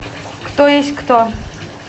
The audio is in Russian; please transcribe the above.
кто есть кто